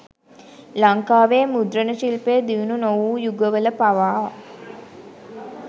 ලංකාවේ මුද්‍රණ ශිල්පය දියුණු නොවූ යුගවල පවා